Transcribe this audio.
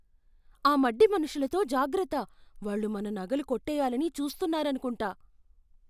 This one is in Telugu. ఆ మడ్డి మనుషులతో జాగ్రత్త. వాళ్ళు మన నగలు కొట్టేయ్యాలని చూస్తున్నారనుకుంటా.